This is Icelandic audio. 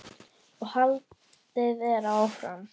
og haldið er áfram.